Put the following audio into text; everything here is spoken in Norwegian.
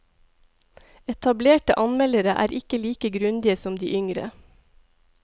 Etablerte anmeldere er ikke like grundige som de yngre.